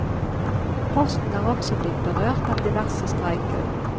Posten er også blitt berørt av diverse streiker.